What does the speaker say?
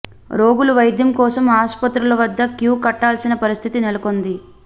రోగులు వైద్యం కోసం ఆసుపత్రుల వద్ద క్యూ కట్టాల్సిన పరిస్థితి నెలకొంది